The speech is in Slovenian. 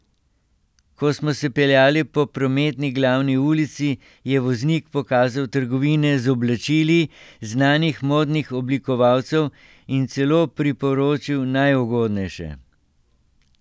Ko smo se peljali po prometni glavni ulici, je voznik pokazal trgovine z oblačili znanih modnih oblikovalcev in celo priporočil najugodnejše.